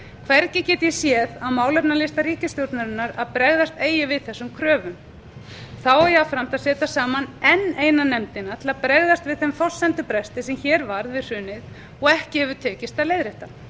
hvergi get ég séð á málefnalista ríkisstjórnarinnar að bregðast eigi við þessum kröfum þá er jafnframt að setja saman enn eina nefndina til að bregðast við þeim forsendubresti sem hér varð við hrunið og ekki hefur tekist að leiðrétta